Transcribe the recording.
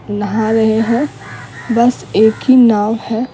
नहा रहे हैं बस एक ही नाव है।